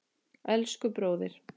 Elsku bróðir!